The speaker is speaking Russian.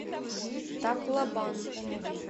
таклобан